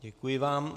Děkuji vám.